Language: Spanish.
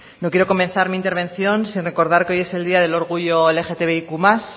no quiero comenzar mi intervención sin recordar que hoy es el día del orgullo lgtbiq más